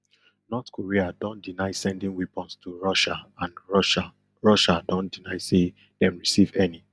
north korea don deny sending weapons to russia and russia russia don deny say dem receive any